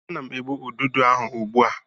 Ana m egbu ududo ahụ ugbu a.